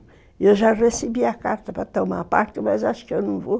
E eu já recebi a carta para tomar parte, mas acho que eu não vou.